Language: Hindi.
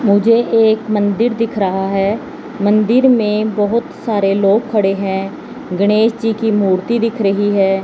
मुझे एक मंदिर दिख रहा है मंदिर में बहुत सारे लोग खड़े हैं गणेश जी की मूर्ति दिख रही है।